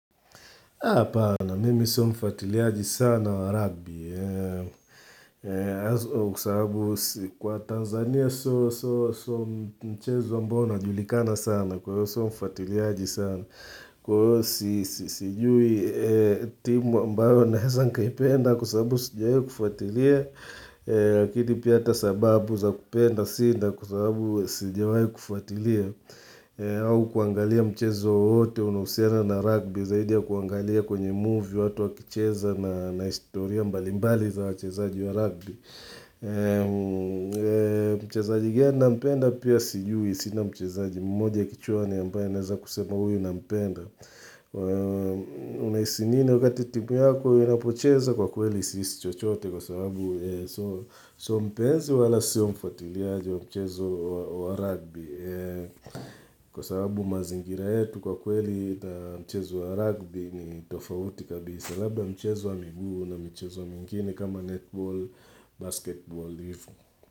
Apana, mimi so mfatiliaji sana wa rugby Kwa Tanzania sio mchezo ambao unajulikana sana Kwa hiyo so mfatiliaji sana Kwa hiyo sijui timu ambayo naeza nikaipenda kwa sababu sijaikufatilia Lakini pia ata sababu za kupenda sina kwa sababu sijawahi kufuatilia au kuangalia mchezo wote unaohusiana na rugby zaidi ya kuangalia kwenye movie watu wakicheza na historia mbali mbali za wachezaji wa rugby. Mchezaji gani nampenda pia sijui. Sina mchezaji mmoja kichwani ambaye naeza kusema huyu nampenda. Unahisi nini wakati timu yako inapocheza kwa kweli si hisi chochote kwa sababu so mpenzi wala siyo mfuatiliaji wa mchezo wa rugby. Kwa sababu mazingira yetu kwa kweli na mchezo wa rugby ni tofauti kabisa Labda mchezo wa miguu na mchezo mingine kama netball, basketball, live.